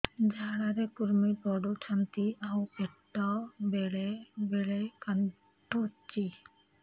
ଝାଡା ରେ କୁର୍ମି ପଡୁଛନ୍ତି ଆଉ ପେଟ ବେଳେ ବେଳେ କାଟୁଛି